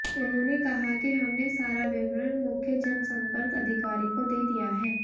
उन्होंने कहा कि हमने सारा विवरण मुख्य जनसंपर्क अधिकारी को दे दिया है